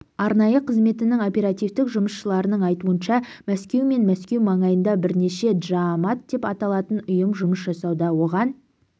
арнайы қызметтің оперативтік жұмысшыларының айтуынша мәскеу мен мәскеу маңайында бірнеше джаамат деп аталатын ұйым жұмыс жасауда оған